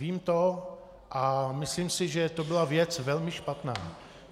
Vím to a myslím si, že to byla věc velmi špatná.